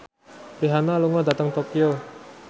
Rihanna lunga dhateng Tokyo